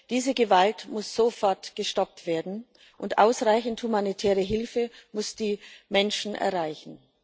Diese Gewalt muss sofort gestoppt werden, und ausreichend humanitäre Hilfe muss die Menschen erreichen.